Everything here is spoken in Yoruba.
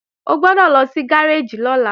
O gbọ́dọ̀ lọ sí gáréèjì lọ́la